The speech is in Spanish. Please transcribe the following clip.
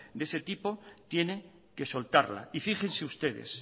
de ese tipo tiene que soltarla y fíjense ustedes